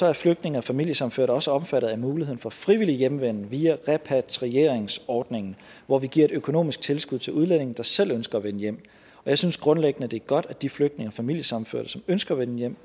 er flygtninge og familiesammenførte også omfattet af muligheden for frivillig hjemvenden via repatrieringsordningen hvor vi giver et økonomisk tilskud til udlændinge der selv ønsker at vende hjem og jeg synes grundlæggende det er godt at de flygtninge og familiesammenførte som ønsker at vende hjem